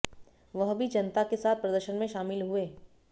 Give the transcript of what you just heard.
वह भी जनता के साथ प्रदर्शन में शामिल हुए